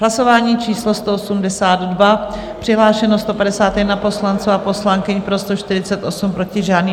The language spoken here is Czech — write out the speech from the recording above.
Hlasování číslo 182, přihlášeno 151 poslanců a poslankyň, pro 148, proti žádný.